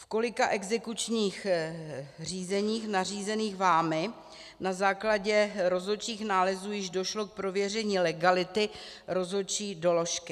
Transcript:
V kolika exekučních řízeních nařízených vámi na základě rozhodčích nálezů již došlo k prověření legality rozhodčí doložky?